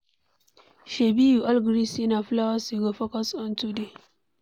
Shebi we all gree say na flowers we go focus on today.